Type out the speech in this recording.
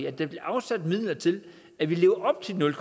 at der bliver afsat midler til at vi lever op til nul